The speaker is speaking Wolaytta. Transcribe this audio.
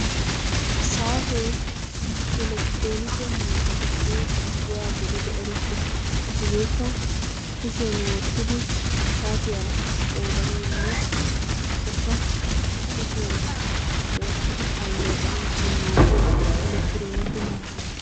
Saatee elektroonike miishshatuppe issuwa gididi erettes. Hegeekka kushiyan wottidi saatiyaa qoodanawunne ubbakka kushiyan wottidi alleeqanaassi maaddiya elektiroonike miishsha.